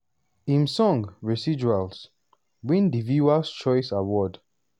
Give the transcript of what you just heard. im song "residuals" win di viewer's choice award.